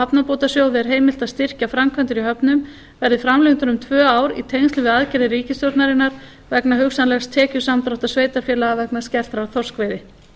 hafnabótasjóði er heimilt að styrkja framkvæmdir í höfnum verði framlengdur um tvö ár í tengslum við aðgerðir ríkisstjórnarinnar vegna hugsanlegs tekjusamdráttar sveitarfélaga vegna skertrar þorskveiði